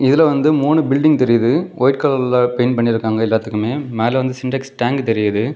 இதுல வந்து மூணு பில்டிங் பெயிண்ட் பண்ணிருக்காங்க எல்லாத்துக்குமே மேல வந்து சின்டெக்ஸ் டேங்க் தெரியுது.